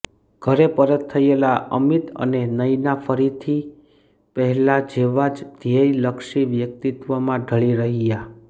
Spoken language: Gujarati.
ઘરે પરત થયેલા અમિત અને નયના ફરીથી પહેલા જેવાજ ધ્યેય લક્ષી વ્યક્તિત્વ માં ઢળી રહ્યા